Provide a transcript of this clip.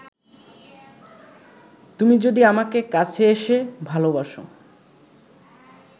তুমি যদি আমাকে কাছে এসে ভালোবাসো